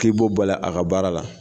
K'i bɔ bal'a ka baara la